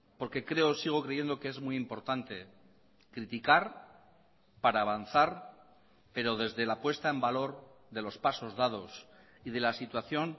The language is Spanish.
porque creo o sigo creyendo que es muy importante criticar para avanzar pero desde la puesta en valor de los pasos dados y de la situación